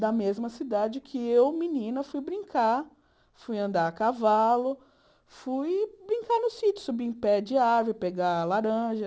da mesma cidade que eu, menina, fui brincar, fui andar a cavalo, fui brincar no sítio, subir em pé de árvore, pegar laranja.